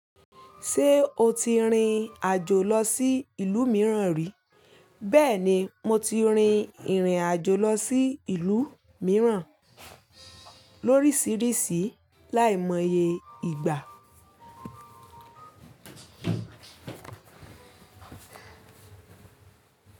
Ṣé o ti rin àjò lọ sí ìlú mìíràn rí? Bẹ́ẹ̀ni, mo ti rin ìrìn-àjò lọ sí ìlú mìíràn lórísìíríìsí láìmọye ìgbà.